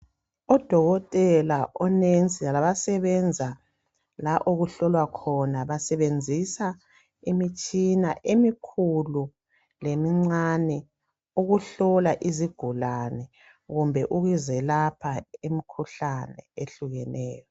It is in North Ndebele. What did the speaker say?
Odokotela o nurse labasebenze la okuhlolwa khona basebenzisa imitshina emikhulu lemincane ukuhlola izigulane kumbe ukuzelapha imikhuhlane ehlukeneyo